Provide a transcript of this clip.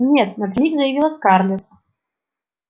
нет напрямик заявила скарлетт